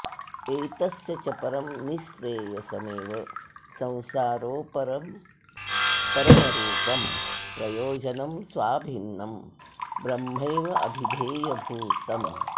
एतस्य च परं निःश्रेयसमेव संसारोपरमरूपं प्रयोजनं स्वाभिन्नं ब्रह्मैवाभिधेयभूतम्